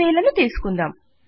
6000 ను తీసుకుందాం